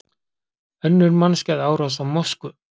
Önnur mannskæð árás á mosku